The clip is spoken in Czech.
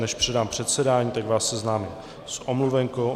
Než předám předsedání, tak vás seznámím s omluvenkou.